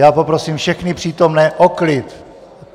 Já poprosím všechny přítomné o klid!